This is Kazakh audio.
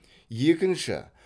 екінші